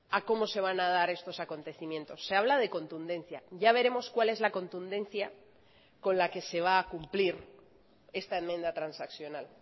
a cómo se van a dar estos acontecimientos se habla de contundencia ya veremos cuál es la contundencia con la que se va a cumplir esta enmienda transaccional